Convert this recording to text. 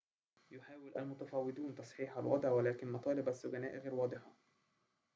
يحاول المتفاوضون تصحيح الوضع ولكن مطالب السجناء غير واضحة